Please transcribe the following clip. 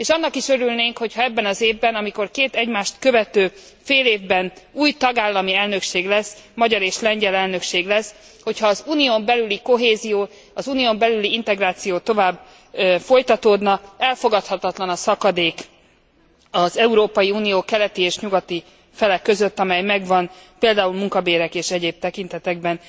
És annak is örülnénk, hogyha ebben az évben, amikor két egymást követő félévben új tagállami elnökség lesz, magyar és lengyel elnökség lesz, hogyha az Unión belüli kohézió, az Unión belüli integráció tovább folytatódna. Elfogadhatatlan a szakadék az Európai Unió keleti és nyugati fele között, ami megvan például munkabérek és egyéb tekintetekben.